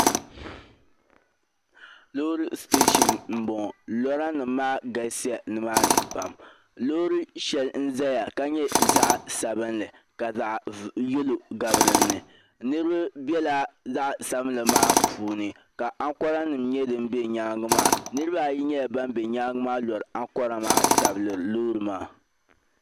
Loori teesa m boŋɔ lora nima maa galisiya nima ni pam loori shɛli n zaya ka nyɛ zaɣa sabinli ka zaɣa yelo gabi dinni niriba be zaɣa sabinli mnaa puuni ka aŋkora nima nyɛ din be nyaanga maa niriba ayi nyɛla ban lori aŋkora maa tabiri loori maa.